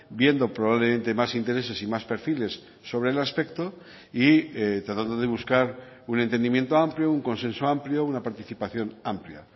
viendo probablemente más intereses y más perfiles sobre el aspecto y tratando de buscar un entendimiento amplio un consenso amplio una participación amplia